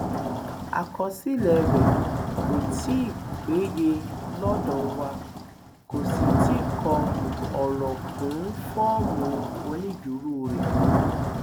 àkọsílẹ rẹ kò tí ì péye lọdọ wa kò sì tí ì kọ ọrọ kún fọọmù onídùúró rẹ